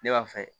Ne b'a fɛ